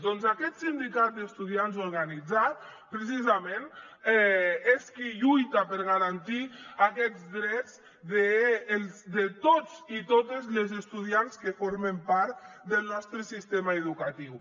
doncs aquest sindicat d’estudiants organitzat precisament és qui lluita per garantir aquests drets de tots i totes les estudiants que formen part del nostre sistema educatiu